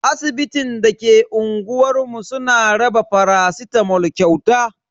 Asibitin da ke unguwar mu suna raba faracitamol kyauta.